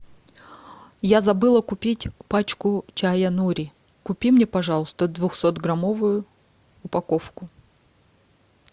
я забыла купить пачку чая нури купи мне пожалуйста двухсотграммовую упаковку